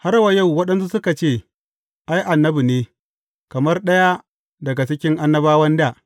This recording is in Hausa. Har wa yau waɗansu suka ce, Ai, annabi ne, kamar ɗaya daga cikin annabawan dā.